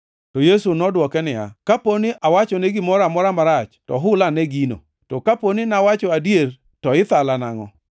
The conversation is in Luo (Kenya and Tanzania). To Yesu nodwoke niya, “Kapo ni awachone gimoro amora marach to hul ane gino. To kapo nawacho adier to ithala nangʼo?”